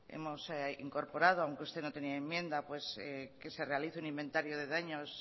hemos incorporado aunque usted no tenía enmienda que se realice un inventario de daños